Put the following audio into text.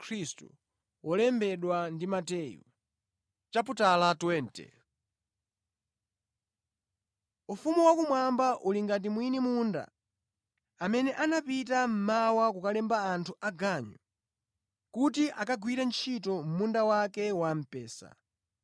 “Ufumu wakumwamba uli ngati mwini munda amene anapita mmawa kukalemba anthu aganyu kuti akagwire ntchito mʼmunda wake wa mpesa.